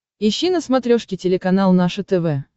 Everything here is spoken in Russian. ищи на смотрешке телеканал наше тв